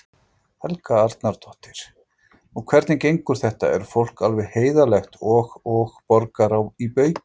Helga Arnardóttir: Og hvernig gengur þetta, er fólk alveg heiðarlegt og, og borgar í baukinn?